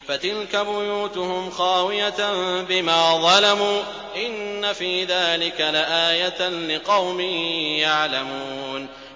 فَتِلْكَ بُيُوتُهُمْ خَاوِيَةً بِمَا ظَلَمُوا ۗ إِنَّ فِي ذَٰلِكَ لَآيَةً لِّقَوْمٍ يَعْلَمُونَ